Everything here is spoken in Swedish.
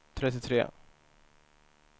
trettiotre